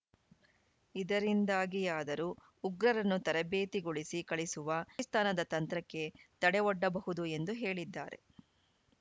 ಇದರಿಂದಾಗಿಯಾದರೂ ಉಗ್ರರನ್ನು ತರಬೇತಿಗೊಳಿಸಿ ಕಳಿಸುವ ಪಾಕಿಸ್ತಾನದ ತಂತ್ರಕ್ಕೆ ತಡೆ ಒಡ್ಡಬಹುದು ಎಂದು ಹೇಳಿದ್ದಾರೆ